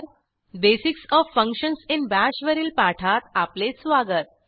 basics of functions in Bash वरील पाठात आपले स्वागत